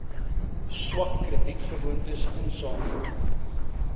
swak kredietgewoontes insamel